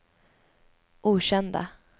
okända